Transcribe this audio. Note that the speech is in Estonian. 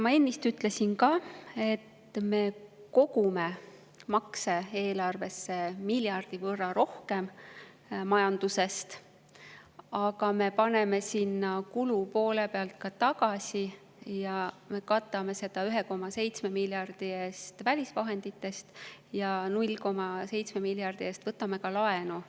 Ma ennist ütlesin ka, et me kogume majandusest makse eelarvesse miljardi võrra rohkem, aga me paneme sinna kulupoole pealt ka tagasi, me katame seda 1,7 miljardi eest välisvahenditest ja 0,7 miljardi eest võtame laenu.